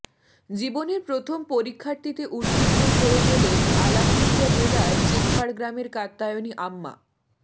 জীবনের প্রথম পরীক্ষাটিতে উত্তীর্ণও হয়ে গেলেন আলাপ্পুঝা জেলার চেপ্পাড গ্রামের কাত্যায়ণী আম্মা